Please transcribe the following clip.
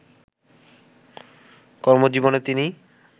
কর্মজীবনে তিনি